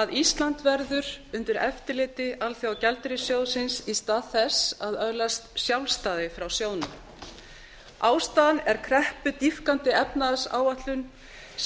að ísland verður undir eftirliti alþjóðagjaldeyrissjóðsins í stað þess að öðlast sjálfstæði frá sjóðnum ástæðan er kreppudýpkandi efnahagsáætlun